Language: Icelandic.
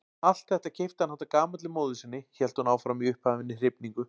Allt þetta keypti hann handa gamalli móður sinni hélt hún áfram í upphafinni hrifningu.